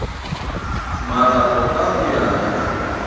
marapo ka ho ya ka